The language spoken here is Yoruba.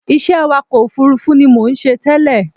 Iṣẹ́ awakọ̀ òfurufú ni mò ń ṣe tẹ́lẹ̀